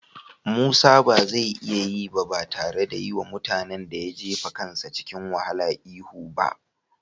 Musa ba zai iya yi ba tare da yi wa mutanen da ya jefa kansa cikin wahala ihu ba.